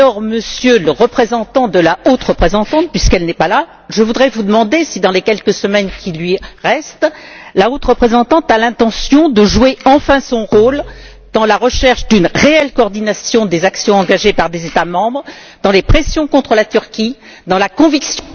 Monsieur le représentant de la haute représentante puisqu'elle n'est pas là je voudrais vous demander si, dans les quelques semaines qui lui restent, la haute représentante a l'intention de jouer enfin son rôle dans la recherche d'une réelle coordination des actions engagées par des États membres, dans les pressions contre la Turquie, dans la conviction...